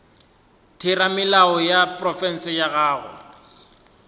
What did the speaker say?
theramelao ya profense go ya